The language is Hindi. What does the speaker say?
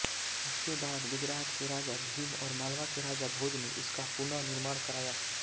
इसके बाद गुजरात के राजा भीम और मालवा के राजा भोज ने इसका पुनर्निर्माण कराया